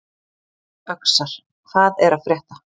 Öxar, hvað er að frétta?